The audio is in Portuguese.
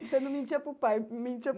Você não mentia para o pai, mentia